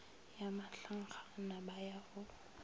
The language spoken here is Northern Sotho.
ya mahlankgana ba ya go